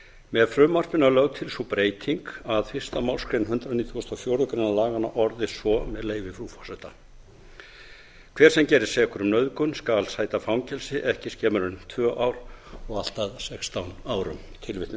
með frumvarpinu er lögð til sú breyting að fyrstu málsgrein hundrað nítugasta og fjórðu grein laganna orðist svo með leyfi frú forseta hver sem gerist sekur um nauðgun skal sæta fangelsi ekki skemur en tvö ár og allt að sextán árum